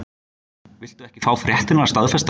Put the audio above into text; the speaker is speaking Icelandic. Viltu ekki fá fréttirnar staðfestar?